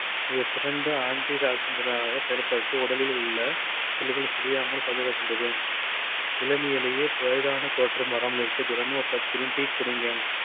இது சிறந்த anti oxidant டாக செயல்பட்டு உடலில் உள்ள செல்கள் சிதையாமல் பாதுகாக்கின்றது. இளமையிலேயே வயதான தோற்றம் வராமல் இருக்க தினமும் ஒரு cup green tea குடிங்க.